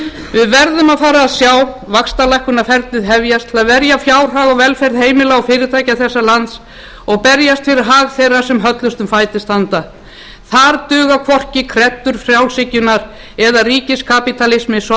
við verðum að fara að sjá vaxtalækkunarferlið hefjast til að verja fjárhag og velferð heimila og fyrirtækja þessa lands og berjast fyrir hag þeirra sem höllustum fæti standa þar duga hvorki kreddur frjálshyggjunnar eða